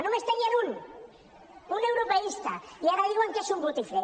només en tenien un un europeista i ara diuen que és un botifler